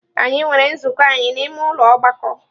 Anyị nwere nzukọ anyị n'ime ụlọ ọgbakọ.